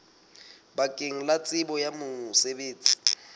bakeng la tsebo ya mosebetsi